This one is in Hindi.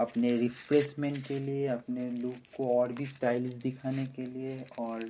अपने रिप्लेसमेंट के लिए अपने लुक को ओर भी स्टाइललिस दिखाने के लिए ओर --